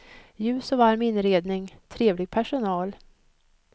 Ljus och varm inredning, trevlig personal.